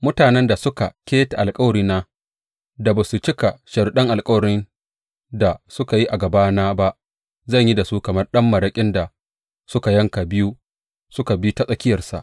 Mutanen da suka keta alkawarina da ba su cika sharuɗan alkawarin da suka yi a gabana ba, zan yi da su kamar ɗan maraƙin da suka yanka biyu suka bi ta tsakiyarsa.